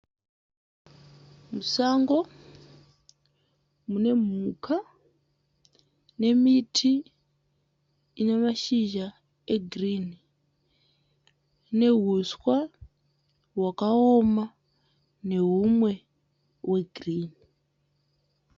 Musango mune mhuka nemiti ine mashizha egirini neuswa hwakaoma nehumwe hwegirini.